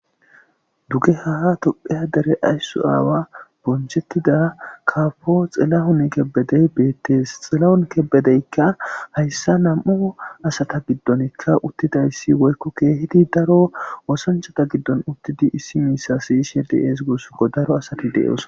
Dugeha dere tophiya dere ayso kehi bonchetida kabo xilahun kebede betes, xilahun kebedeka haysa namu'asta gidon utidaysika woyko kehi daro asata gidon woykko osanchata gidon uttidi eti asayizaysa siyishe des gusako